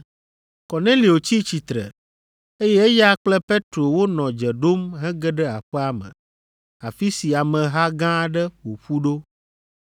Kornelio tsi tsitre, eye eya kple Petro wonɔ dze ɖom hege ɖe aƒea me, afi si ameha gã aɖe ƒo ƒu ɖo.